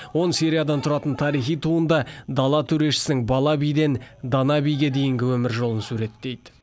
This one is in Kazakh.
он сериядан тұратын тарихи туынды дала төрешісінің бала биден дана биге дейінгі өмір жолын суреттейді